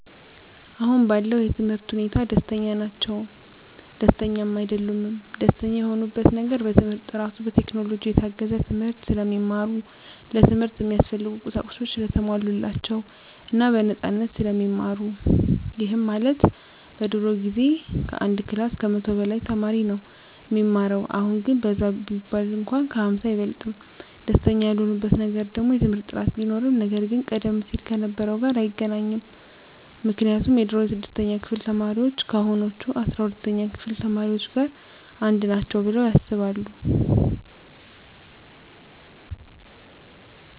አሁን ባለው የትምህርት ሁኔታ ደስተኛ ናቸውም ደስተኛም አይደሉምም። ደስተኛ የሆኑበት ነገር በትምህርት ጥራቱ፣ በቴክኖሎጂ የታገዘ ትምህርት ስለሚማሩ፣ ለትምህርት እሚያስፈልጉ ቁሳቁሶች ሰለተሟሉላቸው እና በነፃነት ስለሚማሩ ይህም ማለት በድሮ ጊዜ ከአንድ ክላስ ከመቶ በላይ ተማሪ ነው እሚማረው አሁን ግን በዛ ቢባል እንኳን ከ ሃምሳ አይበልጥም። ደስተኛ ያልሆኑበት ነገር ደግሞ የትምህርት ጥራት ቢኖርም ነገር ግን ቀደም ሲል ከነበረው ጋር አይገናኝም ምክንያቱም የድሮ የስድስተኛ ክፍል ተማሪዎች ከአሁኖቹ አስራ ሁለተኛ ክፍል ተማሪዎች ጋር አንድ ናቸው ብለው ያስባሉ።